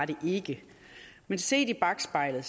det ikke men set i bakspejlet